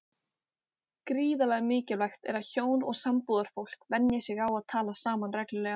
Þegar slíkri fjarbúð lýkur geta bæði verið ánægð með hvernig til tókst.